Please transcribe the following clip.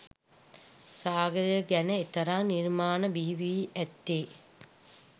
සාගරය ගැන එතරම් නිර්මාණ බිහිවී ඇත්තේ